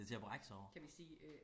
det er til at brække sig over